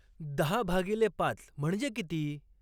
दहा भागिले पाच म्हणजे किती